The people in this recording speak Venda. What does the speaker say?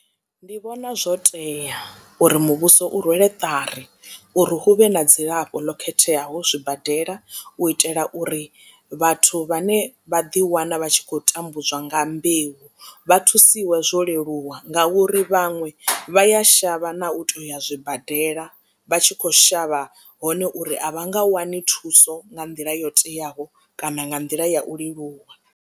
Ndi vhona zwo tea uri muvhuso u rwele ṱari uri huvhe na dzilafho ḽo khetheaho zwibadela u itela uri vhathu vhane vha ḓi wana vha tshi khou tambudzwa nga mbeu vha thusiwe zwo leluwa ngauri vhaṅwe vha ya shavha na u tou ya zwibadela vha tshi kho shavha hone uri a vha nga wani thuso nga nḓila yo teaho kana nga nḓila ya u leluwa.